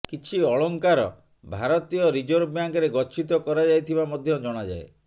କିଛି ଅଳଙ୍କାର ଭାରତୀୟ ରିଜର୍ଭ ବ୍ୟାଙ୍କରେ ଗଚ୍ଛିତ କରାଯାଇଥିବା ମଧ୍ୟ ଜଣାଯାଏ